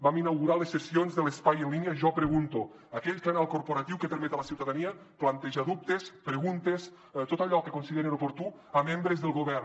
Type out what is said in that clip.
vam inaugurar les sessions de l’espai en línia jo pregunto aquell canal corporatiu que permet a la ciutadania plantejar dubtes preguntes tot allò que considerin oportú a membres del govern